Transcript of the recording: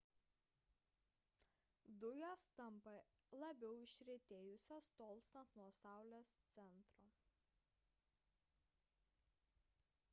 dujos tampa labiau išretėjusios tolstant nuo saulės centro